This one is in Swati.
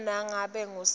nobe ngabe ngusiphi